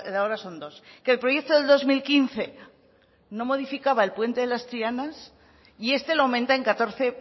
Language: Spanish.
ahora son dos que el proyecto del dos mil quince no modificaba el puente de las trianas y este lo aumenta en catorce